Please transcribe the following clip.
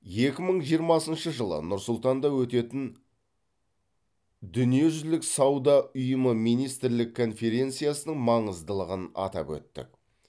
екі мың жиырмасыншы жылы нұр сұлтанда өтетін дүниежүзілік сауда ұйымы министрлік конференциясының маңыздылығын атап өттік